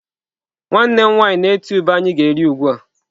Nwanne m nwaanyị na-eti ube anyi ga eri ugbua.